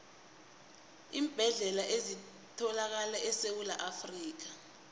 iimbedlela ezithalakala esewula afrikha